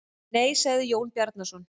Nei, sagði Jón Bjarnason.